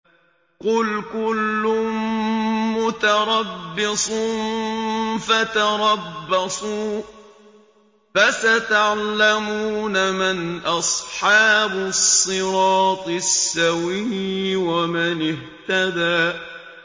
قُلْ كُلٌّ مُّتَرَبِّصٌ فَتَرَبَّصُوا ۖ فَسَتَعْلَمُونَ مَنْ أَصْحَابُ الصِّرَاطِ السَّوِيِّ وَمَنِ اهْتَدَىٰ